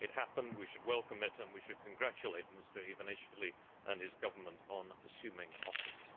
It happened, we should welcome it, and we should congratulate Mr Ivanishvili and his government on assuming office.